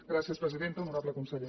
gràcies presidenta honorable conseller